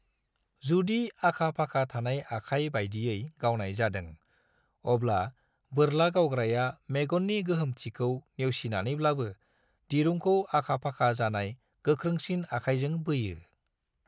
जुदि आखा-फाखा थानाय आखाय बायदियै गावनाय जादों, अब्ला बोरला गावग्राया मेगन्नि गोहोमथिखौ नेवसिनानैब्लाबो दिरुंखौ आखा-फाखा जानाय गोख्रोंसिन आखायजों बोयो।